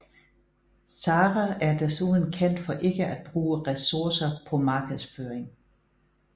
Zara er desuden kendt for ikke at bruge resurser på markedsføring